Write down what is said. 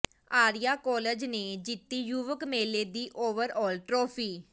Arya college ਨੇ ਜਿੱਤੀ ਯੁਵਕ ਮੇਲੇ ਦੀ ਓਵਰਆਲ ਟਰਾਫੀ